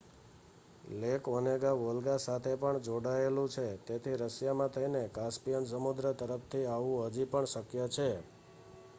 lake Onega Volga સાથે પણ જોડાયેલું છે તેથી રશિયામાં થઈને કાસ્પિયન સમુદ્ર તરફથી આવવું હજી પણ શક્ય છે